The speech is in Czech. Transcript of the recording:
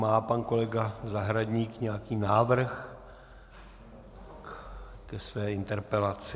Má pan kolega Zahradník nějaký návrh ke své interpelaci?